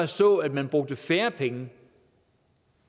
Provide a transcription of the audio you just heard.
så at man brugte færre penge